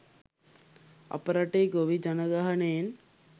අප රටේ ගොවි ජනගහනයෙන්